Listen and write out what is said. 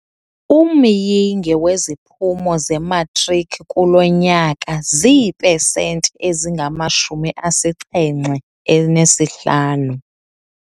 Umyinge weziphumo zematriki kulo nyaka ziipesenti ezingamashumi asixhenxe anesihlanu.